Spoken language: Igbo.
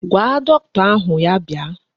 Gwa dọkịta ahụ ya bịa.